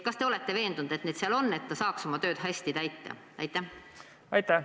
Kas te olete veendunud, et need vahendid seal on, et amet saaks oma tööd hästi teha?